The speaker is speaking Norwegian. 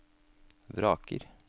vraker